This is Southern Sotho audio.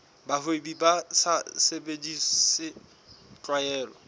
bahwebi ba sa sebedise tlwaelo